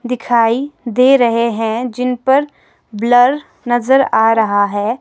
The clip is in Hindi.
दिखाई दे रहे हैं जिन पर ब्लर नजर आ रहा है।